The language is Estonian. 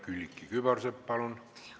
Külliki Kübarsepp, palun!